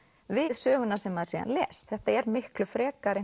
við söguna sem maður síðan les þetta er miklu frekar